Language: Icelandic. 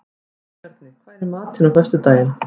Jónbjarni, hvað er í matinn á föstudaginn?